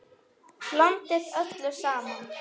Blandið öllu saman.